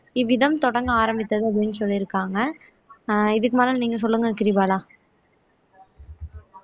இவ்விதம் தொடங்க ஆரம்பித்தது அப்படீன்னு சொல்லியிருக்காங்க அஹ் இதுக்கு மேல நீங்க சொல்லுங்க கிரிபாலா